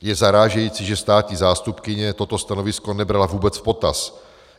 Je zarážející, že státní zástupkyně toto stanovisko nebrala vůbec v potaz.